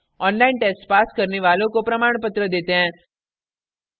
online test pass करने वालों को प्रमाणपत्र देते हैं